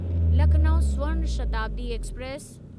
Lucknow Swarna Shatabdi express